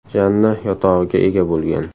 Janna yotog‘iga ega bo‘lgan.